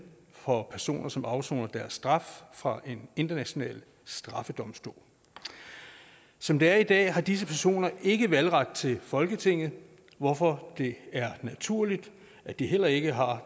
for personer som afsoner deres straf fra en international straffedomstol som det er i dag har disse personer ikke valgret til folketinget hvorfor det er naturligt at de heller ikke har